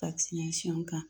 kan